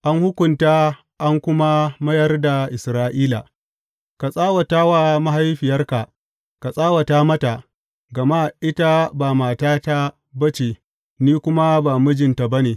An hukunta an kuma mayar da Isra’ila Ka tsawata wa mahaifiyarka, ka tsawata mata, gama ita ba matata ba ce, ni kuma ba mijinta ba ne.